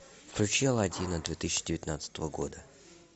включи алладина две тысячи девятнадцатого года